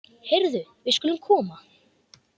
Heyrðu, við skulum koma.